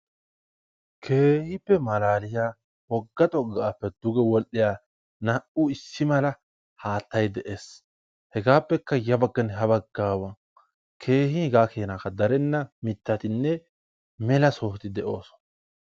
Keehippe malaaliya wogga xoqqaappe duge wodhdhiya naa"u issi mala haattayi de"es. Hegaappekka ya bagganne ha baggaawa keehi hegaa keenakka darenna mittatinne mela. sohoti de"oosona.